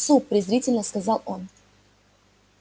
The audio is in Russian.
суп презрительно сказал он